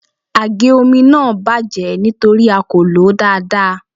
Àgé omi náà bàjẹ́ nítorí a kò lòó dáadáa.